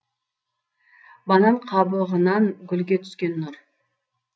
банан қабығынан гүлге түскен нұр